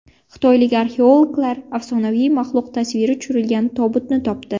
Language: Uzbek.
Xitoylik arxeologlar afsonaviy maxluq tasviri tushirilgan tobutni topdi.